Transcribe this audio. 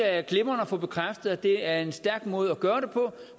er glimrende at få bekræftet at det er en stærk måde at gøre det på